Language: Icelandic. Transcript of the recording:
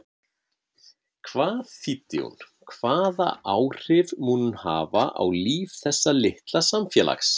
Hvað þýddi hún, hvaða áhrif mun hún hafa á líf þessa litla samfélags?